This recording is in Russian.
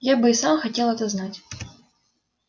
я бы и сам хотел это знать